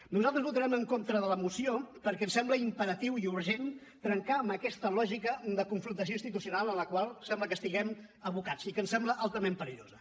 nosaltres votarem en contra de la moció perquè ens sembla imperatiu i urgent trencar amb aquesta lògica de confrontació institucional en la qual sembla que estiguem abocats i que ens sembla altament perillosa